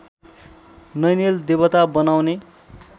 नैनेल देवता बनाउने